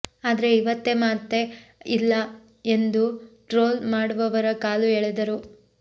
ಆದ್ರೆ ಇವತ್ತೆ ಮಾತೇ ಇಲ್ಲ ಎಂದು ಟ್ರೋಲ್ ಮಾಡುವವರ ಕಾಲು ಎಳೆದರು